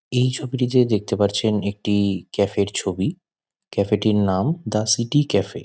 এই ছবিটিতে দেখতে পাচ্ছেন একটি ক্যাফে -এর ছবি। ক্যাফে -টির নাম দ্য সিটি ক্যাফে ।